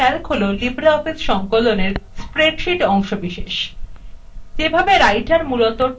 libreoffice calc হল libreoffice সংকলনএর মধ্যে spreadsheet অংশবিশেষ